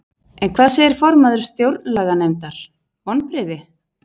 En hvað segir formaður Stjórnlaganefndar, vonbrigði?